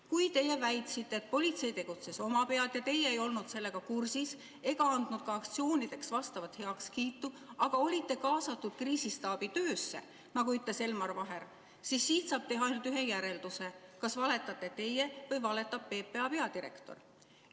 Kui teie väitsite, et politsei tegutses omapead ja teie ei olnud sellega kursis ega andnud ka aktsioonideks heakskiitu, aga nagu ütles Elmar Vaher, olite kaasatud kriisistaabi töösse, siis siit saab teha ainult ühe järelduse: kas valetate teie või valetab PPA peadirektor.